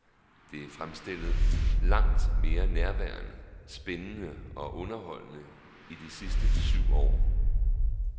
Det er fremstillet langt mere nærværende, spændende og underholdende i de sidste syv år.